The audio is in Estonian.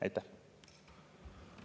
Aitäh!